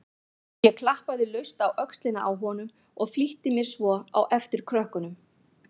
Ég klappaði laust á öxlina á honum og flýtti mér svo á eftir krökkunum.